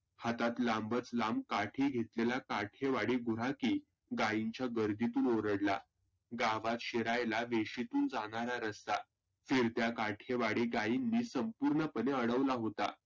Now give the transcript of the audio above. हातात लांबच लांब काठी घेऊन काठेवाडी गुराखी गाईंच्या गर्दितून ओरडला. गावात शिरायला वेशितून जानारा रस्ता फिरत्या काठेवाडी गाईंनी संपुर्णपणे आडवला होता.